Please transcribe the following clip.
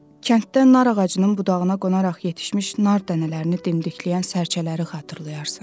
Kənddə nar ağacının budağına qonaraq yetişmiş nar dənələrini dimdikləyən sərçələri xatırlayarsan.